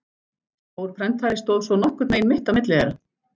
Stór prentari stóð svo nokkurn veginn mitt á milli þeirra.